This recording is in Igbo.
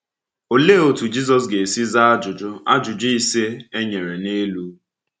Òlee otú Jizọs ga-esi zaa ajụjụ ajụjụ ise e nyere n’elu?